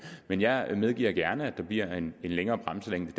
men jeg medgiver gerne at der bliver en længere bremselængde